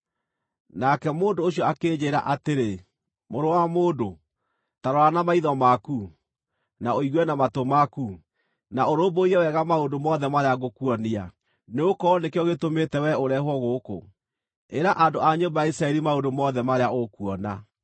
Nake mũndũ ũcio akĩnjĩĩra atĩrĩ, “Mũrũ wa mũndũ, ta rora na maitho maku, na ũigue na matũ maku, na ũrũmbũiye wega maũndũ mothe marĩa ngũkuonia, nĩgũkorwo nĩkĩo gĩtũmĩte wee ũrehwo gũkũ. Ĩra andũ a nyũmba ya Isiraeli maũndũ mothe marĩa ũkuona.”